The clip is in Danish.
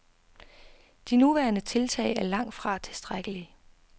De nuværende tiltag er langt fra tilstrækkelige.